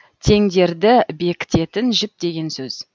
теңдерді бекітетін жіп деген сөз